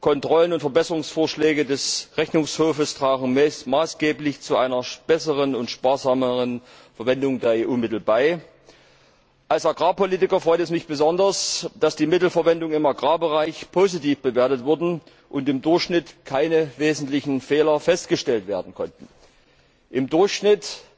Kontrollen und Verbesserungsvorschläge des Rechnungshofs tragen maßgeblich zu einer besseren und sparsameren Verwendung der EU Mittel bei. Als Agrarpolitiker freut es mich besonders, dass die Mittelverwendung im Agrarbereich positiv bewertet wurde und im Durchschnitt keine wesentlichen Fehler festgestellt werden konnten. Im Durchschnitt